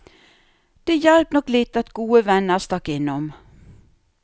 Det hjalp nok litt at gode venner stakk innom.